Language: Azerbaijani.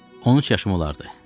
13 yaşım olardı.